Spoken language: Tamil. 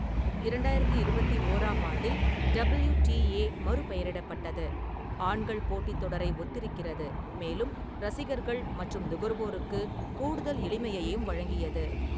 இரண்டாயிரத்தி இருபத்தி ஓராம் ஆண்டில், டபிள்யு.டி.ஏ மறுபெயரிடப்பட்டது, ஆண்கள் போட்டித் தொடரை ஒத்திருக்கிறது, மேலும் ரசிகர்கள் மற்றும் நுகர்வோருக்கு கூடுதல் எளிமையையும் வழங்கியது.